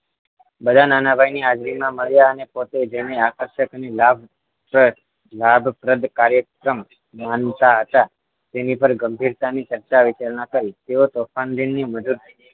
બધા નાના ભાઈ ની હાજરીમાં મળ્યા અને પોતે જેને આકર્ષક અને લાભ પ્રદ લાભ પ્રદ કાર્યક્રમ માનતા હતા તેની પર ગંભીરતાની ચર્ચા વિચારણા કરી તેઓ તોફાન દિનની મજુ